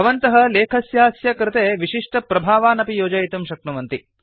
भवन्तः लेखस्यास्य कृते विशिष्टप्रभावान् अपि योजयितुं शक्नुवन्ति